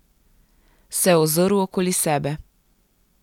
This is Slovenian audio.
Se ozrl okoli sebe.